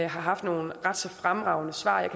har haft nogle ret så fremragende svar jeg